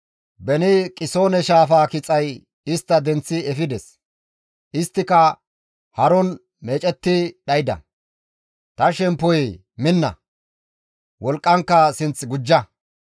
Beni Qisoone shaafaa kixay istta denththi efides; isttika haron meecetti dhayda; Ta shemppoyee minna; wolqqankka sinth gujja.